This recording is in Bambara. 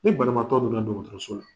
Ni banabaatɔ donna dɔgɔtɔrɔso la